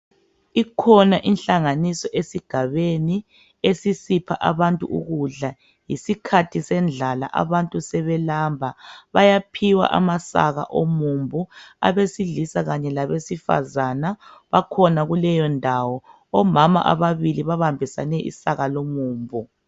Ikhona inhlanganiso esigabeni esisipha abantu ukudla. Yisikhathi sendlala abantu sebelamba. Bayaphiwa amasaka womumbu abesilisa kanye labesifazana bakhona kuleyondawo. Omama ababili babambisane isaka lomumbu.